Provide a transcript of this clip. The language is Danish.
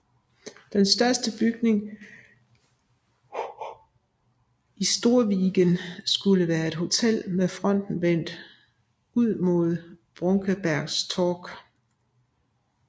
Den største bygning i Storviggen skulle være et hotel med fronten vendt ud mod Brunkebergstorg